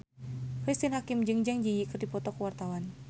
Cristine Hakim jeung Zang Zi Yi keur dipoto ku wartawan